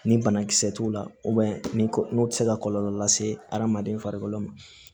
Ni banakisɛ t'u la ni n'o tɛ se ka kɔlɔlɔ lase adamaden farikolo ma